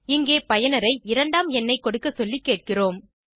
இங்கே பயனரை இரண்டாம் எண்ணை கொடுக்க சொல்லி கேட்கிறோம்